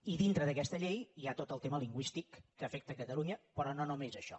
i dintre d’aquesta llei hi ha tot el tema lingüístic que afecta catalunya però no només això